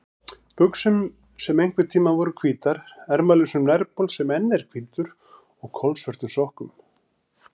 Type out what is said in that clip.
buxum sem einhverntíma voru hvítar, ermalausum nærbol sem enn er hvítur og kolsvörtum sokkum.